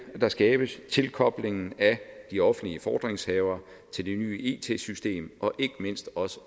der skabes tilkoblingen af de offentlige fordringshavere til det nye it system og ikke mindst